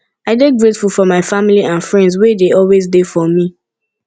i dey grateful for my family and friends wey dey always dey for me